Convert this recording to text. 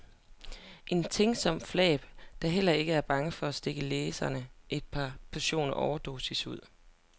En tænksom flap, der heller ikke er bange for at stikke læseren et par portioner overdosis ud.